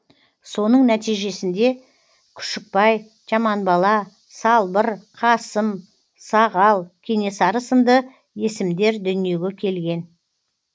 соның нәтижесінде күшікбай жаманбала салбыр қасым сағал кенесары сынды есімдер дүниеге келген